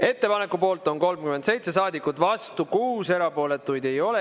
Ettepaneku poolt on 37 saadikut, vastu 6, erapooletuid ei ole.